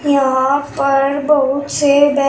यहां पर बहुत से बै--